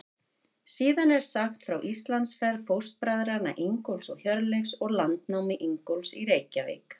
Síðan er sagt frá Íslandsferð fóstbræðranna Ingólfs og Hjörleifs og landnámi Ingólfs í Reykjavík.